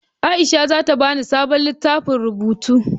Aisha zata bani sabon littafin rubutu